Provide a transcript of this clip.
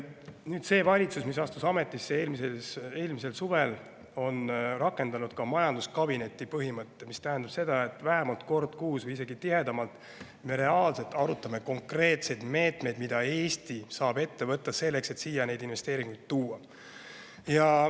Nüüd, see valitsus, mis astus ametisse eelmisel suvel, on rakendanud majanduskabineti põhimõtet, mis tähendab seda, et vähemalt kord kuus või isegi tihedamalt me reaalselt arutame konkreetseid meetmeid, mida Eesti saab võtta selleks, et siia investeeringuid tuua.